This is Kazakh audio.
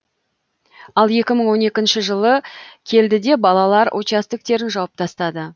ал екі мың он екінші жылы келді де балалар участоктерін жауып тастады